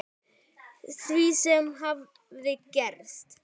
Því sem hafði gerst.